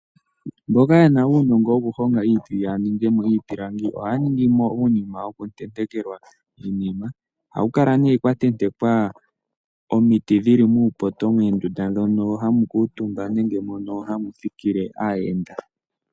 Mboka yena uunongo woku honga omiti ya ningemo iipilangi, ohaya ningimo uunima woku tentekelwa iinima, ohaku kala ne kwa tentekwa omiti dhili muupoto moondunda dhoku kuutumba nenge moka hamu thikile aayenda.